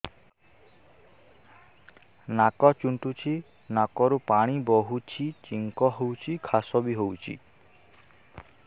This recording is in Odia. ନାକ ଚୁଣ୍ଟୁଚି ନାକରୁ ପାଣି ବହୁଛି ଛିଙ୍କ ହଉଚି ଖାସ ବି ହଉଚି